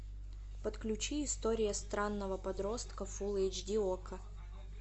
подключи история странного подростка фулл эйч ди окко